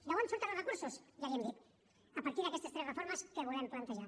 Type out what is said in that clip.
d’on surten els recursos ja li ho hem dit a partir d’aquestes tres reformes que volem plantejar